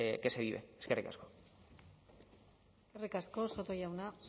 que se vive eskerrik asko eskerrik asko soto jauna